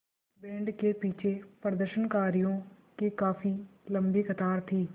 band के पीछे प्रदर्शनकारियों की काफ़ी लम्बी कतार थी